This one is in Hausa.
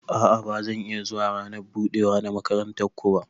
A'a ba zan iya zuwa rana budewa na makarantan ku ba.